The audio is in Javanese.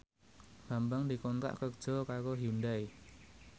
Bambang dikontrak kerja karo Hyundai